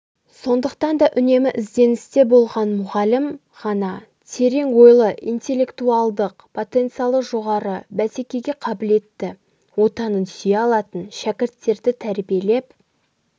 сондықтан да үнемі ізденісте болған мұғалім ғана терең ойлы интеллектуалдық потенциалы жоғары бәсекеге қабілетті отанын сүйетін шәкірттерді тәрбиелеп